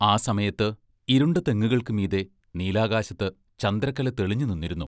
ആ സമയത്ത് ഇരുണ്ട തെങ്ങുകൾക്കു മീതെ നീലാകാശത്ത് ചന്ദ്രക്കല തെളിഞ്ഞുനിന്നിരുന്നു.